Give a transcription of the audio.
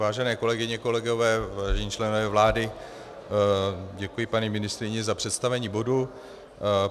Vážené kolegyně, kolegové, vážení členové vlády, děkuji paní ministryni za představení bodu.